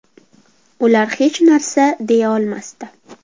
Ular hech narsa deya olmasdi.